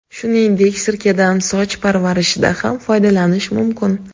Shuningdek, sirkadan soch parvarishida ham foydalanish mumkin.